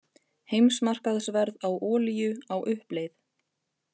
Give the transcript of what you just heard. Heimsmarkaðsverð á olíu á uppleið